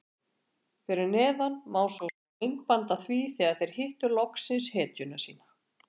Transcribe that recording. Fyrir neðan má svo sjá myndband af því þegar þeir hittu loksins hetjuna sína.